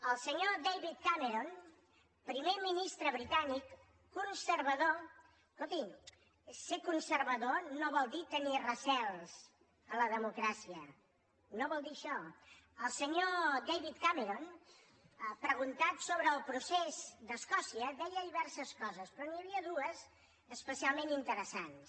el senyor david cameron primer ministre britànic conservador escoltin ser conservador no vol dir tenir recels a la democràcia no vol dir això el senyor david cameron preguntat sobre el procés d’escòcia deia diverses coses però n’hi havia dues especialment interessants